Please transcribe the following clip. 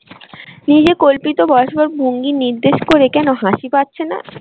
নিজে কল্পিত বসবার ভঙ্গি নির্দেশ করে কেন হাসি পাচ্ছে না?